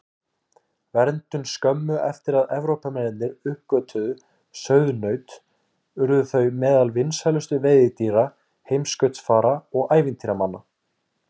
Verndun Skömmu eftir að Evrópumenn uppgötvuðu sauðnaut urðu þau meðal vinsælustu veiðidýra heimskautsfara og ævintýramanna.